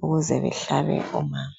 ukuze behlabe umama